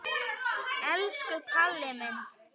Hann skoraði tíu mörk.